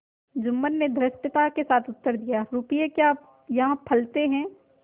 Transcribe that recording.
जुम्मन ने धृष्टता के साथ उत्तर दियारुपये क्या यहाँ फलते हैं